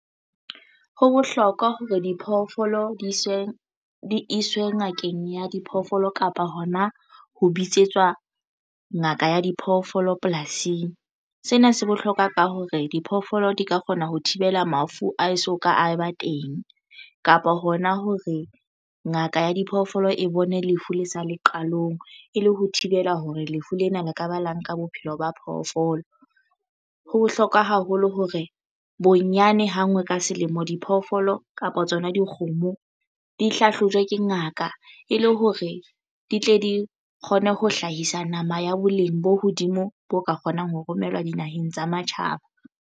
Ho bohlokwa hore diphoofolo di iswe ngakeng ya diphoofolo kapa hona ho bitsetswa ngaka ya diphoofolo polasing. Sena se bohlokwa ka hore diphoofolo di ka kgona ho thibela mafu a e soka a ba teng kapa hona hore ngaka ya diphoofolo e bone lefu le sa le qalong e le ho thibela hore lefu lena la ka ba la nka bophelo ba phoofolo. Ho bohlokwa haholo hore bonyane ha ngwe ka selemo diphoofolo kapa tsona dikgomo di hlahlojwa ke ngaka e le hore di tle di kgone ho hlahisa nama ya boleng bo hodimo bo ka kgonang ho romellwa dinaheng tsa matjhaba.